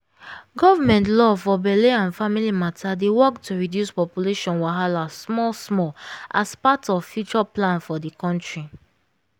government law for belle and family matter dey work to reduce population wahala small smallas part of lfuture plan for the country.